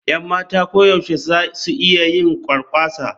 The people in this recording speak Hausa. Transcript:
Yan matan koyaushe za su iya yin kwarkwasa.